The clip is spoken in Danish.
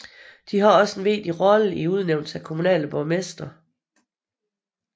De har også en vigtig rolle i udnævnelsen af kommunale borgmestre